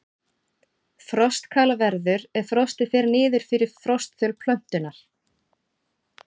Frostkal verður ef frostið fer niður fyrir frostþol plöntunnar.